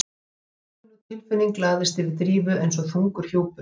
Gamalkunnug tilfinning lagðist yfir Drífu eins og þungur hjúpur.